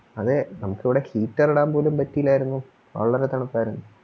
അതെ നമുക്കിവിടെ Heater ഇടാൻ പോലും പറ്റിയില്ലാരുന്നു വളരെ തണുപ്പാരുന്നു